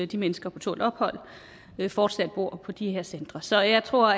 de mennesker på tålt ophold fortsat bor på de her centre så jeg tror